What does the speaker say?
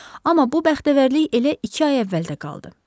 Amma bu bəxtəvərlik elə iki ay əvvəldə qaldı.